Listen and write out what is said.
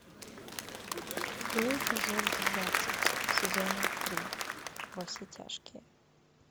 открой эпизод двадцать сезона три во все тяжкие